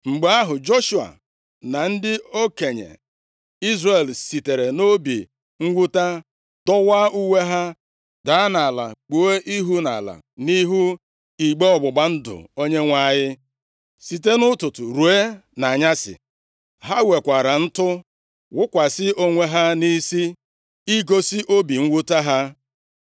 Mgbe ahụ, Joshua na ndị okenye Izrel sitere nʼobi mwute dọwaa uwe ha, daa nʼala kpuo ihu nʼala nʼihu igbe ọgbụgba ndụ Onyenwe anyị site nʼụtụtụ ruo nʼanyasị. Ha wekwara ntụ wụkwasị onwe ha nʼisi igosi obi mwute ha.